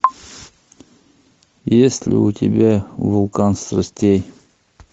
есть ли у тебя вулкан страстей